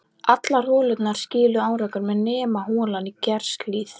Allar holurnar skiluðu árangri nema holan í Geirshlíð.